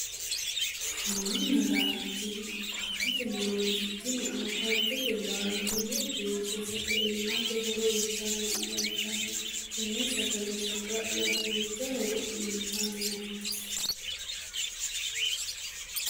Muronna laalo tini awukaatote murooti tini awukaatote laalo lowo geeshsha sagalimmate horo uyitanni afantanno tenne sagale saga'la duucha hooro uyitanno